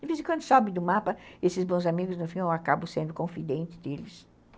De vez em quando, some do mapa, esses bons amigos, no fim, eu acabo sendo confidente deles.